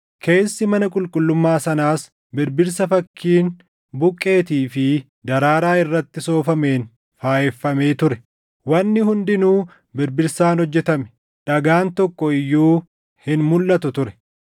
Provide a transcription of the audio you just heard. Keessi mana qulqullummaa sanaas birbirsa fakkiin buqqeetii fi daraaraa irratti soofameen faayeffamee ture. Wanni hundinuu birbirsaan hojjetame; dhagaan tokko iyyuu hin mulʼatu ture.